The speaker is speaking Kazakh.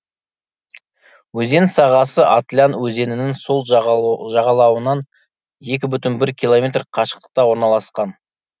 өзен сағасы атлян өзенінің сол жағалауынан екі бүтін бір километр қашықтықта орналасқан